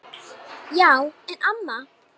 Já en amma.